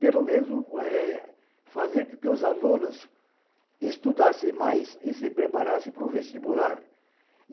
Pelo menos, eh fazer com que os alunos estudassem mais e se preparassem para o vestibular.